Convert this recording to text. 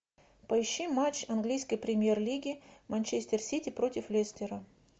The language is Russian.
поищи матч английской премьер лиги манчестер сити против лестера